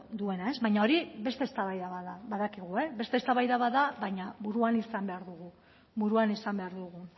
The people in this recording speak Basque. duena baina hori beste eztabaida bat da badakigu beste eztabaida bat baina buruan izan behar dugu